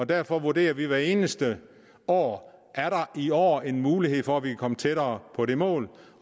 derfor vurderer vi hvert eneste år er der i år en mulighed for at vi kan komme tættere på det mål